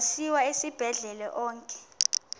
asiwa esibhedlele onke